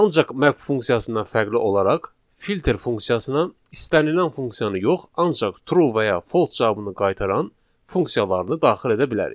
Ancaq map funksiyasından fərqli olaraq filter funksiyasına istənilən funksiyanı yox, ancaq true və ya false cavabını qaytaran funksiyalarını daxil edə bilərik.